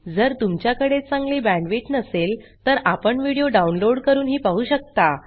जर तुमच्याकडे चांगली बॅण्डविड्थ नसेल तर आपण व्हिडिओ डाउनलोड करूनही पाहू शकता